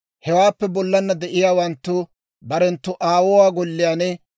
Ayaw gooppe, Med'inaa Goday Musa hawaadan yaageedda;